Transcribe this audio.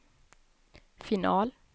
final